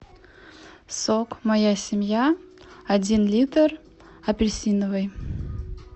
сок моя семья один литр апельсиновый